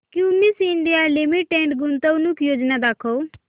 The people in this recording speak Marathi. क्युमिंस इंडिया लिमिटेड गुंतवणूक योजना दाखव